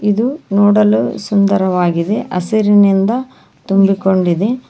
ಇದು ನೋಡಲು ಸುಂದರವಾಗಿದೆ ಹಸಿರಿನಿಂದ ತುಂಬಿಕೊಂಡಿದೆ.